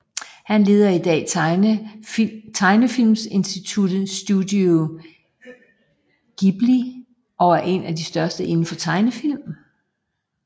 Han leder i dag tegnefilmstudiet Studio Ghibli og er en af de største indenfor tegnefilm